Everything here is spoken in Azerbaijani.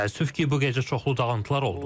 Təəssüf ki, bu gecə çoxlu dağıntılar oldu.